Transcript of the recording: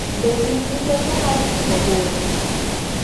Be in gi teko mar timo hono?